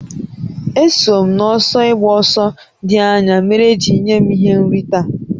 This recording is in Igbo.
Eso m n'ọsọ ịgba ọsọ dị anya mere e ji nye m ihe nrite a